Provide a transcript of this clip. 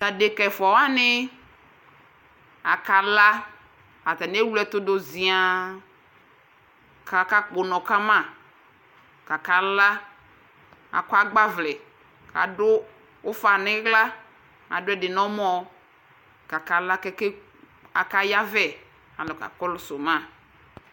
Tʋ adekǝ ɛfʋa wanɩ akala Atanɩ ewle ɛtʋ dʋ zɩaa kʋ akakpɔ ʋnɔ ka ma kʋ akala Akɔ agbawlɛ kʋ adʋ ʋfa nʋ ɩɣla Adʋ ɛdɩ nʋ ɔmɔ kʋ akala kʋ ake akayavɛ kʋ alʋ kakɔsʋ ma